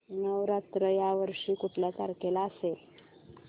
नवरात्र या वर्षी कुठल्या तारखेला असेल